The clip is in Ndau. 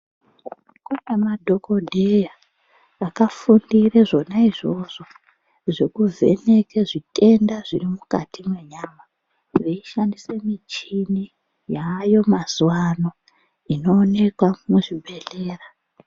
Kune madhokodheya akafundire zvona izvozvo zvekuvheneke zvitenda zviri mwukati mwenyama veishandise michini yaayo mazuvano inooneka muzvibhedhlera.